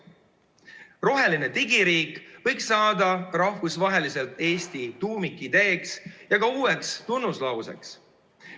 Roheline digiriik võiks saada rahvusvaheliselt Eesti tuumikideeks ja ka uueks tunnuslauseks.